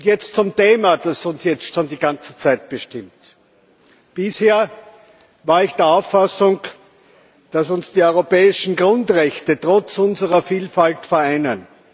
Jetzt zum Thema, das uns jetzt schon die ganze Zeit bestimmt Bisher war ich der Auffassung, dass uns die europäischen Grundrechte trotz unserer Vielfalt vereinen.